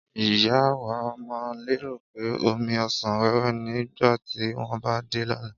ìyá wa má lérò pé omí ọsán wéwé ni nígbàtí wón bá dé lóla